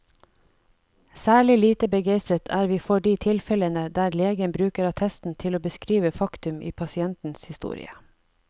Særlig lite begeistret er vi for de tilfellene der legen bruker attesten til å beskrive faktum i pasientens historie.